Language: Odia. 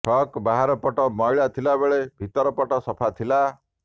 ଫ୍ରକ୍ର ବାହାର ପଟ ମଇଳା ଥିବାବେଳେ ଭିତର ପଟ ସଫା ଥିଲା